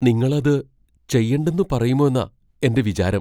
നിങ്ങൾ അത് ചെയ്യണ്ടെന്ന് പറയുമോന്നാ എന്റെ വിചാരം.